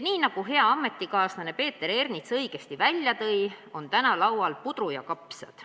Nii nagu hea ametikaaslane Peeter Ernits õigesti välja tõi, on täna laual puder ja kapsad.